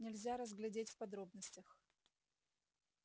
нельзя разглядеть в подробностях